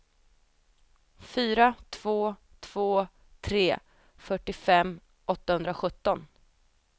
fyra två två tre fyrtiofem åttahundrasjutton